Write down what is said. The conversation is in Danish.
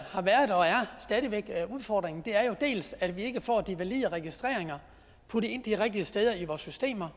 udfordringen er dels at vi ikke får de valide registreringer puttet ind de rigtige steder i vores systemer